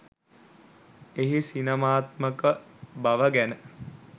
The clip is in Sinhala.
එහි සිනමාත්මක බව ගැන